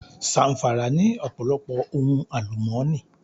Zàm̀fàrà ní ọ̀pọ̀lọpọ̀ ohun àlùmọ́nì